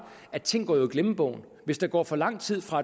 at ting jo går i glemmebogen hvis der går for lang tid fra